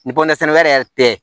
Ni bɔrɛ sɛnɛ wɛrɛ yɛrɛ tɛ